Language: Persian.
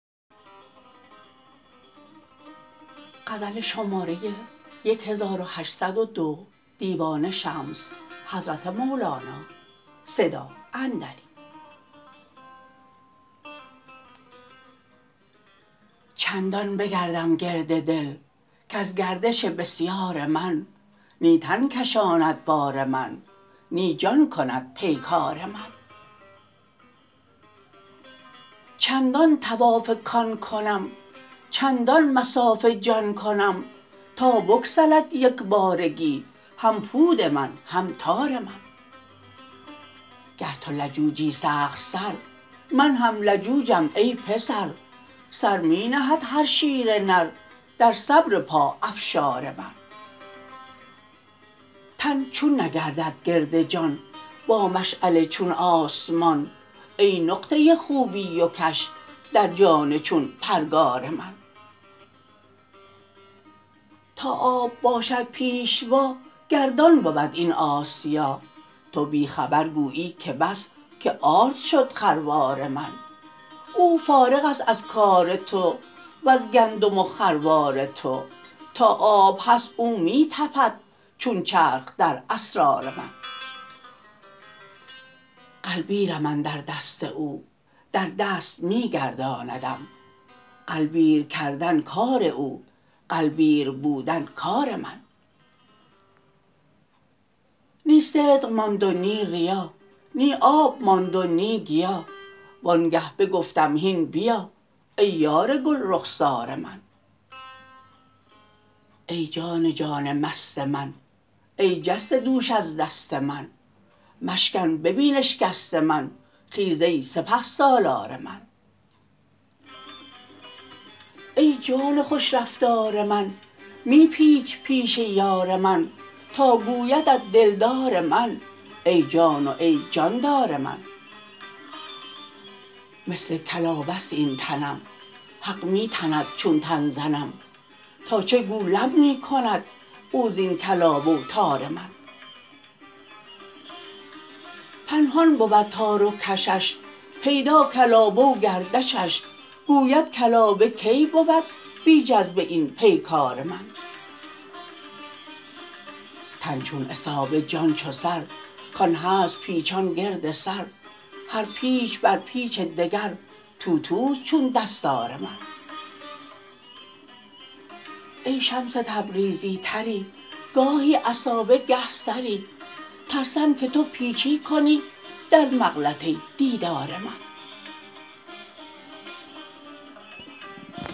چندان بگردم گرد دل کز گردش بسیار من نی تن کشاند بار من نی جان کند پیکار من چندان طواف کان کنم چندان مصاف جان کنم تا بگسلد یک بارگی هم پود من هم تار من گر تو لجوجی سخت سر من هم لجوجم ای پسر سر می نهد هر شیر نر در صبر پاافشار من تن چون نگردد گرد جان با مشعل چون آسمان ای نقطه خوبی و کش در جان چون پرگار من تا آب باشد پیشوا گردان بود این آسیا تو بی خبر گویی که بس که آرد شد خروار من او فارغ است از کار تو وز گندم و خروار تو تا آب هست او می تپد چون چرخ در اسرار من غلبیرم اندر دست او در دست می گرداندم غلبیر کردن کار او غلبیر بودن کار من نی صدق ماند و نی ریا نی آب ماند و نی گیا وانگه بگفتم هین بیا ای یار گل رخسار من ای جان جان مست من ای جسته دوش از دست من مشکن ببین اشکست من خیز ای سپه سالار من ای جان خوش رفتار من می پیچ پیش یار من تا گویدت دلدار من ای جان و ای جاندار من مثل کلابه ست این تنم حق می تند چون تن زنم تا چه گولم می کند او زین کلابه و تار من پنهان بود تار و کشش پیدا کلابه و گردشش گوید کلابه کی بود بی جذبه این پیکار من تن چون عصابه جان چو سر کان هست پیچان گرد سر هر پیچ بر پیچ دگر توتوست چون دستار من ای شمس تبریزی طری گاهی عصابه گه سری ترسم که تو پیچی کنی در مغلطه دیدار من